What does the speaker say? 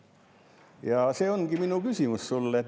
Ja see ongi minu küsimus sulle.